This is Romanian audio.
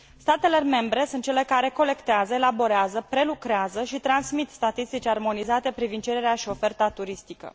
Statele membre sunt cele care colectează, elaborează, prelucrează și transmit statistici armonizate privind cererea și oferta turistică.